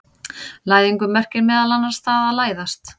Læðingur merkir meðal annars það að læðast.